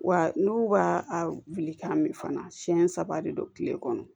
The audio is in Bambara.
Wa n'u b'a a wuli k'a mɛn fana siɲɛ saba de don tile kɔnɔ